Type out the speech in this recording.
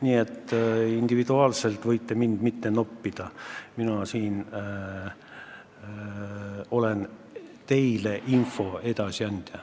Nii et te võiksite mind siin individuaalselt noppimata jätta, mina olen teile info edasiandja.